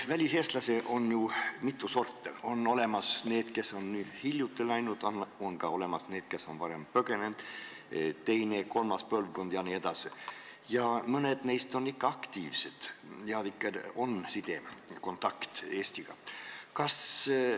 Väliseestlasi on ju mitu sorti, on need, kes on hiljuti siit läinud, on ka need, kes on varem põgenenud, on nende teine, kolmas põlvkond jne, mõned neist on aktiivsed ja neil on ikka side, kontakt Eestiga.